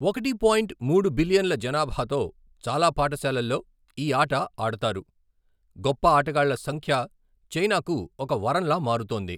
ఒకటి పాయింట్ మూడు బిలియన్ల జనాభాతో చాలా పాఠశాలల్లో ఈ ఆట ఆడతారు, గొప్ప ఆటగాళ్ళ సంఖ్య చైనాకు ఒక వరంలా మారుతోంది.